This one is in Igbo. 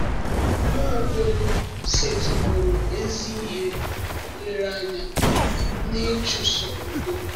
Nwaokolo setịpụụrụ ezi ihe nlereanya n’ịchụso udo.